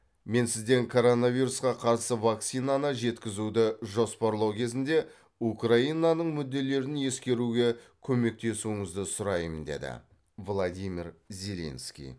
мен сізден коронавирусқа қарсы вакцинаны жеткізуді жоспарлау кезінде украинаның мүдделерін ескеруге көмектесуіңізді сұраймын деді владимир зеленский